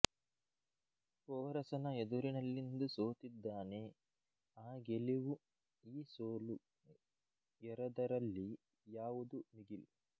ಪೋರಸನ ಎದುರಿನಲ್ಲಿಂದು ಸೋತಿದ್ದಾನೆ ಆ ಗೆಲಿವು ಈ ಸೊಲು ಎರದರಲ್ಲಿ ಯಾವುದು ಮಿಗಿಲು